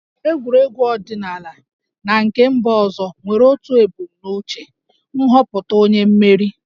Egwuregwu ọdịnala na nke mba ọzọ nwere otu ebumnuche - nhọpụta onye mmeri